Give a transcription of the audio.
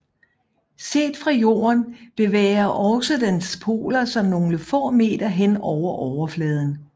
Set fra Jorden bevæger også dens poler sig nogle få meter hen over overfladen